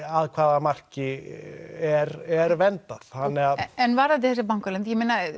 af hvaða marki er er verndað en varðandi þessa bankaleynd